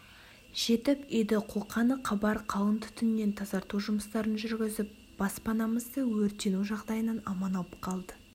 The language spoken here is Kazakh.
жетіп үйді қолқаны қабар қалың түтіннен тазарту жұмыстарын жүргізіп баспанамызды өртену жағдайынан аман алып қалды